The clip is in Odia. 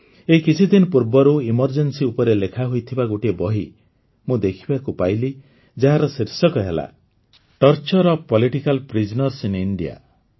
ଏଇ କିଛିଦିନ ପୂର୍ବରୁ ଜରୁରୀକାଳୀନ ପରିସ୍ଥିତି ଉପରେ ଲେଖାହୋଇଥିବା ଗୋଟିଏ ବହି ମୁଁ ଦେଖିବାକୁ ପାଇଲି ଯାହାର ଶୀର୍ଷକ ହେଲା torture of political prisoners in India